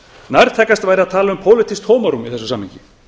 nærtækast væri að tala um pólitískt tómarúm í þessu samhengi